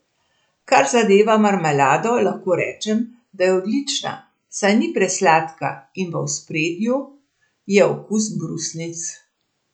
Kar zadeva marmelado, lahko rečem, da je odlična, saj ni presladka in v ospredju je okus brusnic.